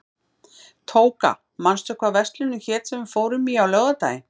Tóka, manstu hvað verslunin hét sem við fórum í á laugardaginn?